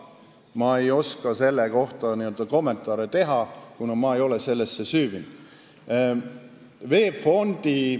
Ma ei oska seda kommenteerida, kuna ma ei ole sellesse süüvinud.